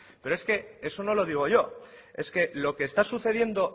pero es que si eso no lo digo yo es que lo que está sucediendo